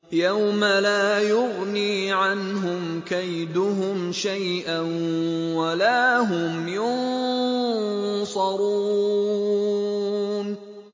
يَوْمَ لَا يُغْنِي عَنْهُمْ كَيْدُهُمْ شَيْئًا وَلَا هُمْ يُنصَرُونَ